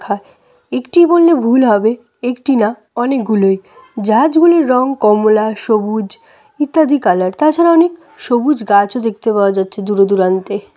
একটি বললে ভুল হবে একটি না অনেকগুলোই জাহাজ গুলির রং কমলা সবুজ ইত্যাদি কালার তাছাড়া অনেক সবুজ গাছও দেখতে পাওয়া যাচ্ছে দূরে দূরান্তে।